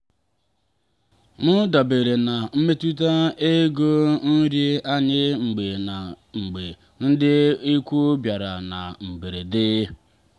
m dabere na mmefu ego nri anyị mgbe ndị mgbe ndị ikwu bịara na mberede.